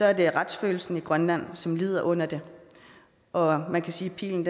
er det retsfølelsen i grønland som lider under det og man kan sige at pilen